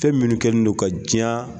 Fɛn minnu kɛnen don ka diɲan